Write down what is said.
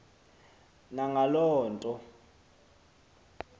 na ngaloo nto